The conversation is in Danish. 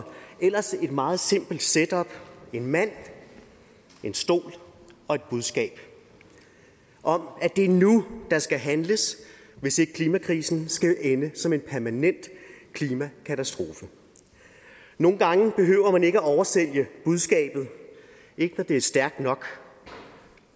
ellers et meget simpelt setup en mand en stol og et budskab om at det er nu der skal handles hvis ikke klimakrisen skal ende som en permanent klimakatastrofe nogle gange behøver man ikke at oversælge budskabet når det er stærkt nok